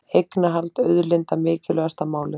Eignarhald auðlinda mikilvægasta málið